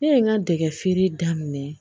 Ne ye n ka dɛgɛ feere daminɛ